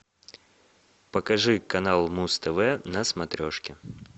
покажи канал муз тв на смотрешке